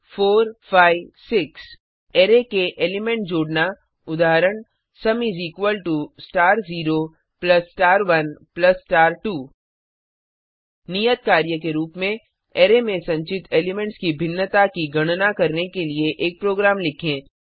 उदाहरण intstar34 5 6 array के element जोड़ना उदाहरण sum is equal to star 0 plus star 1 plus star 2 नियत कार्य के रूप में अरै में संचित एलिमेंट्स की भिन्नता की गणना करने के लिए एक प्रोग्राम लिखें